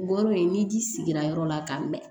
Bɔ n'o ye ni ji sigira yɔrɔ la ka mɛn